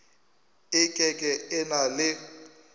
e ke ke na le